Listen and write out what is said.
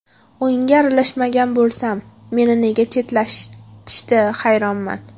O‘yinga aralashmagan bo‘lsam, meni nega chetlatishdi, hayronman.